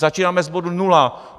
Začínáme z bodu nula.